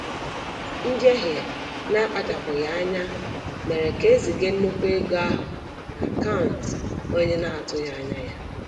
Njehie na-akpachapụghị anya mere ka eziga nnukwu ego ahụ n'akaụntụ onye na-atụghị anya ya.